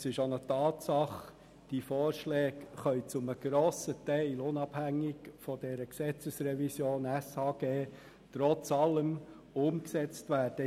Es ist aber eine Tatsache, dass die Vorschläge zu einem grossen Teil trotz allem unabhängig von dieser SHG-Revision umgesetzt werden können.